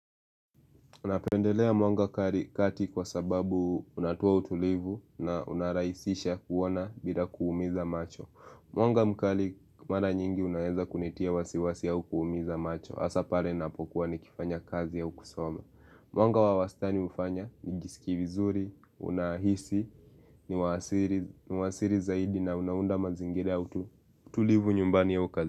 Napendelea mwanga kati kwa sababu unatoa utulivu na unarahisisha kuona bila kuumiza macho. Mwanga mkali mara nyingi unaeza kunitia wasiwasi au kuumiza macho. Hasa pale napokuwa ni kifanya kazi au kusoma. Mwanga wa wastani hufanya nijisikie vizuri, unahisi, ni wa asili zaidi na unaunda mazingira tulivu nyumbani au kazi.